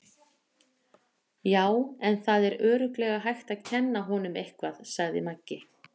Já, en það er örugglega hægt að kenna honum eitthvað, sagði Maggi.